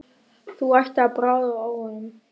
Þú ættir að bragða á honum